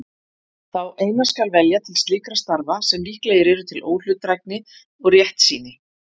Þá eina skal velja til slíkra starfa sem líklegir eru til óhlutdrægni og réttsýni.